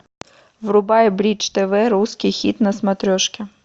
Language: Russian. врубай бридж тв русский хит на смотрешке